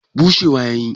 bushewa ya yi